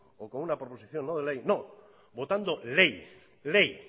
o con una proposición no de ley no votando ley ley